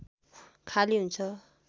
खाली हुन्छ